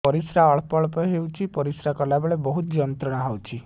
ପରିଶ୍ରା ଅଳ୍ପ ଅଳ୍ପ ହେଉଛି ପରିଶ୍ରା କଲା ବେଳେ ବହୁତ ଯନ୍ତ୍ରଣା ହେଉଛି